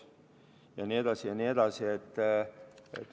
Jne, jne.